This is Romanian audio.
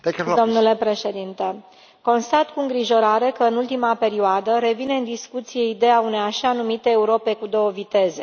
Domnule președinte, constat cu îngrijorare că în ultima perioadă revine în discuție ideea unei așa numite Europe cu două viteze.